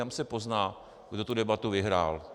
Tam se pozná, kdo tu debatu vyhrál.